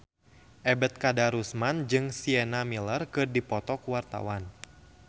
Ebet Kadarusman jeung Sienna Miller keur dipoto ku wartawan